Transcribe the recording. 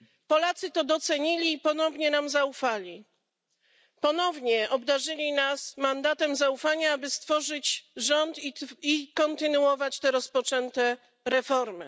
Polacy to docenili i ponownie nam zaufali, ponownie obdarzyli nas mandatem zaufania, aby stworzyć rząd i kontynuować te rozpoczęte reformy.